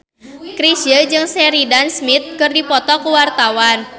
Chrisye jeung Sheridan Smith keur dipoto ku wartawan